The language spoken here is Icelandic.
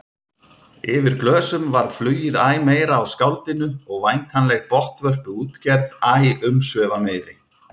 Yfir glösum varð flugið æ meira á skáldinu og væntanleg botnvörpuútgerð æ umsvifameiri.